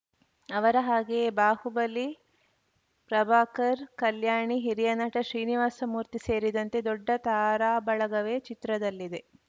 ಅವರ ಹಾಗೆಯೇ ಬಾಹುಬಲಿ ಪ್ರಭಾಕರ್‌ ಕಲ್ಯಾಣಿ ಹಿರಿಯ ನಟ ಶ್ರೀನಿವಾಸ ಮೂರ್ತಿ ಸೇರಿದಂತೆ ದೊಡ್ಡ ತಾರಾಬಳಗವೇ ಚಿತ್ರದಲ್ಲಿದೆ